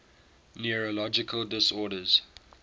neurological disorders